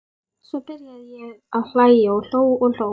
Svo byrjaði ég að hlæja og hló og hló.